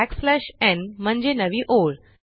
backslash न् n म्हणजे नवी ओळ